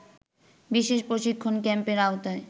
বিশেষ প্রশিক্ষণ ক্যাম্পের আওতায়